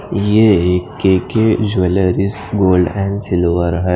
ये एक K K jewellers gold हे सिल्वर --